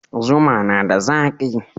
Zuma na da zaki.